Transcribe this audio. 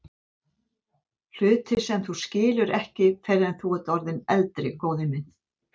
Hluti sem þú skilur ekki fyrr en þú ert orðinn eldri, góði minn.